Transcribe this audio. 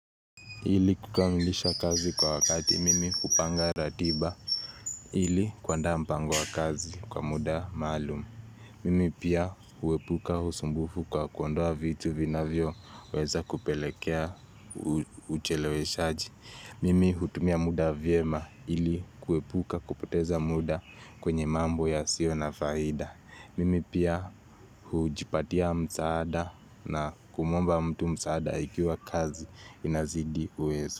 Ili kukamilisha kazi kwa wakati, mimi hupanga ratiba ili kuaanda mpango wa kazi kwa muda maalum. Mimi pia huepuka usumbufu kwa kuondoa vitu vinavyoweza kupelekea ucheleweshaji. Mimi hutumia muda vyema ili kuepuka kupoteza muda kwenye mambo yasio na faida. Mimi pia hujipatia msaada na kumwomba mtu msaada ikiwa kazi inazidi uwezo.